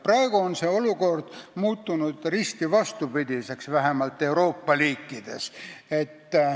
Praegu on see olukord risti vastupidiseks muutunud, vähemalt Euroopa riikides.